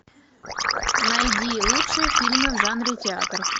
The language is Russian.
найди лучшие фильмы в жанре театр